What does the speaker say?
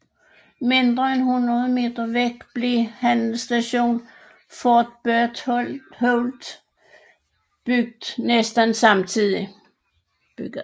Mindre end hundrede meter borte blev handelsstationen Fort Berthold bygget næsten samtidigt